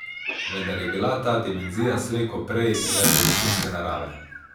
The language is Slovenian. Vendar je bila ta dimenzija slej ko prej le površinske narave.